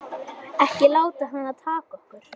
Ekki láta hana taka okkur.